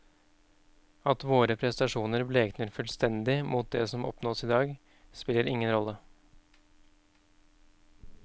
At våre prestasjoner blekner fullstendig mot det som oppnås i dag, spiller ingen rolle.